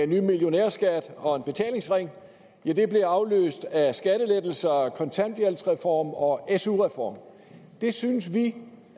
ny millionærskat og en betalingsring blev afløst af skattelettelser kontanthjælpsreform og su reform det synes vi